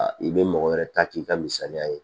I bɛ mɔgɔ wɛrɛ ta k'i ka misaliya ye